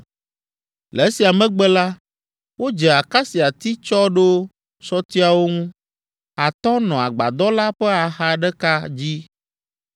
Le esia megbe la, wodze akasiati tsɔ ɖo sɔtiawo ŋu. Atɔ̃ nɔ agbadɔ la ƒe axa ɖeka dzi,